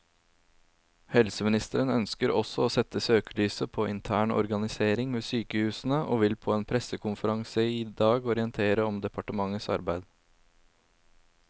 Helseministeren ønsker også å sette søkelyset på intern organisering ved sykehusene, og vil på en pressekonferanse i dag orientere om departementets arbeid.